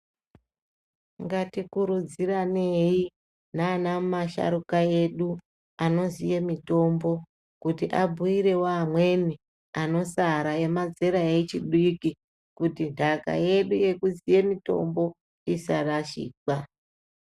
Ngatikurudziranei nana masharuka edu anoziye mutombo kuti abhuirewo amweni anosara emazera echidiki kuti ntaka yedu yekuziye mutombo isarashikwa.